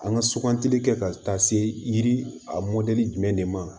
An ka sugantili kɛ ka taa se yiri a mɔdɛli jumɛn de ma